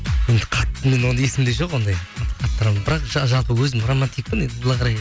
енді қатты мен оны есімде жоқ ондай бірақ жалпы өзім романтикпін енді былай қарай